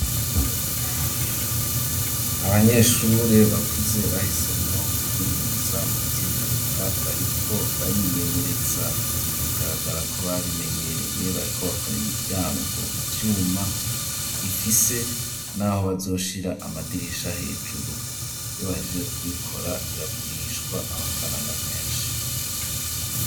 Abanyeshure bakuze bahisemwo kuminuza mu vyimyuga bariko barimenyereza bagaragara ko babimenyereye bariko bakora imiryango mu vyuma ifise naho bazoshira amadirisha hejuru iyo bahejeje kubikora biragurishwa amafaranga menshi.